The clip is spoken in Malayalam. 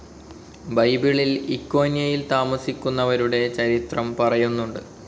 ബൈബിളിൽ ഇക്കോന്യയിൽ താമസിക്കുന്നവരുടെ ചരിത്രം പറയുന്നുണ്ട്.